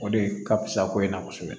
O de ka fusa ko in na kosɛbɛ